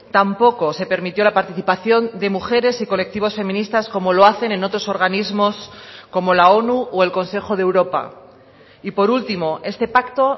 tampoco se permitió la participación de mujeres y colectivos feministas como lo hacen en otros organismos como la onu o el consejo de europa y por último este pacto